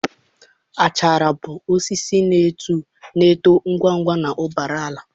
achara bụ osisi na-eto ngwa ngwa na mbara ala.